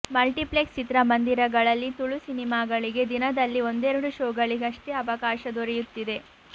multiplex ಚಿತ್ರಮಂದಿರಗಳಲ್ಲಿ ತುಳು ಸಿನೆಮಾಗಳಿಗೆ ದಿನದಲ್ಲಿ ಒಂದೆರಡು ಶೋಗಳಿಗಷ್ಟೇ ಅವಕಾಶ ದೊರೆಯುತ್ತಿದೆ